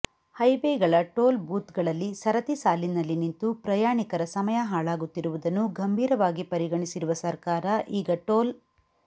ಹೈವೇಗಳ toll ಬೂತ್ಗಳಲ್ಲಿ ಸರತಿ ಸಾಲಿನಲ್ಲಿ ನಿಂತು ಪ್ರಯಾಣಿಕರ ಸಮಯ ಹಾಳಾಗುತ್ತಿರುವುದನ್ನು ಗಂಭೀರವಾಗಿ ಪರಿಗಣಿಸಿರುವ ಸರ್ಕಾರ ಈಗ ಟೋಲ್